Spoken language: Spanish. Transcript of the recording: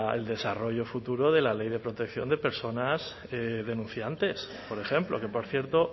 del desarrollo futuro de la ley de protección de personas denunciantes por ejemplo que por cierto